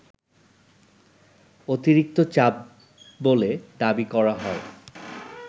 অতিরিক্ত চাপ বলে দাবি করা হয়